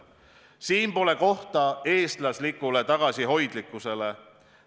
Siin pole kohta eestlaslikule tagasihoidlikkusele.